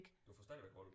Du får stadigvæk hul